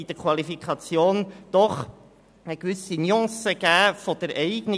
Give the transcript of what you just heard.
In der Qualifikation hat es von der Eignung her jedoch eine gewisse Nuance gegeben.